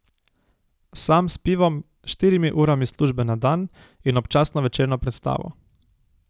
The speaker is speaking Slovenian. Sam s pivom, štirimi urami službe na dan in občasno večerno predstavo.